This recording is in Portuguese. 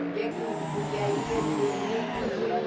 O dia que eu podia ir, eu eu ia e vendia.